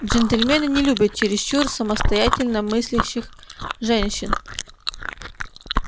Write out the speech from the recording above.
джентльмены не любят чересчур самостоятельно мыслящих женщин